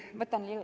Võtan lisaaega.